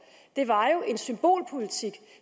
jo en symbolpolitik